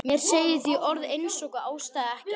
Mér segir því orð einsog ástæða ekkert.